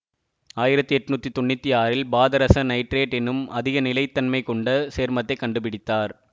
ஆயிரத்தி எண்ணூற்றி தொன்னூற்தி ஆறில் பாதரச நைட்ரேட் என்னும் அதிக நிலைத்தன்மை கொண்ட சேர்மத்தை கண்டுபிடித்தார்